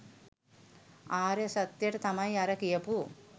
ආර්ය සත්‍යයට තමයි අර කියපු